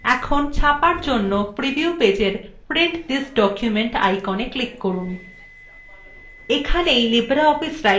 এখন ছাপার জন্য preview পেজএর print this document iconএ click করুন